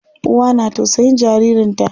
Uwa na tausayin jaririn ta.